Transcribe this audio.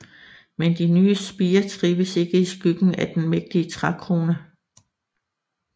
Men de nye spirer trives ikke i skyggen af den mægtige trækrone